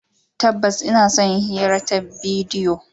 Tabbas, ina son yin hira ta bidiyo.